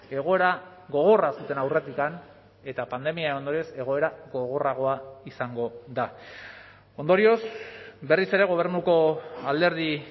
egoera gogorra zuten aurretik eta pandemiaren ondorioz egoera gogorragoa izango da ondorioz berriz ere gobernuko alderdi